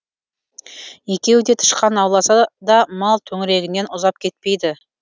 екеуі де тышқан ауласа да мал төңірегінен ұзап кетпейді